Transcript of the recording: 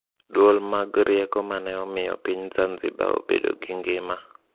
Duol mag Rieko mane omiyo piny Zanzibar obedo gi ngima